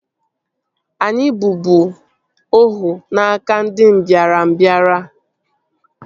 Anyị bụbu ohu n'aka ndị mbịarambịa